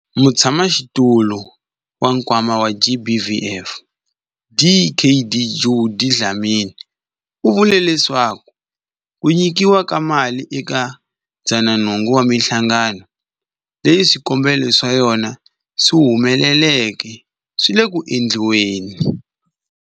Mutshamaxitulu wa Nkwama wa GBVF, Dkd Judy Dlamini, u vule leswaku ku nyikiwa ka mali eka 108 wa mihlangano leyi swikombelo swa yona swi humeleleke swi le ku endliweni.